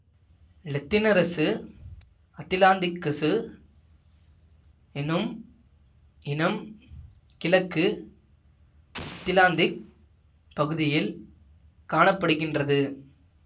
லெத்தினரசு அத்திலாந்திக்கசு எனும் இனம் கிழக்கு அத்திலாந்திக் பகுதியில் காண படுகின்றது